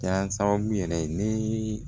Kɛra sababu yɛrɛ ye ni